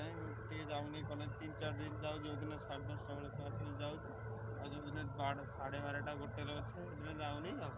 ଟା ବି ସେଇ ଭଳିଆ ହଉଛି ନା ଏମିତି ତିନି ଚାରି ଦିନ ଯାଉଛି ଯଉ ଦିନ ସାଡେ ଦଶଟା ବେଳେ ଯାଉଛି ଆଉ ଯଉ ଦିନ ସାଡେ ବାରେଟା ଗୋଟେ ରେ ଅଛି ଯାଉନି ଆଉ।